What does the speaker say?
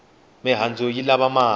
mihandzu yi lava mati